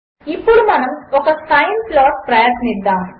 ఇప్పుడుమనముఒక sine ప్లాట్ప్రయత్నిద్దాము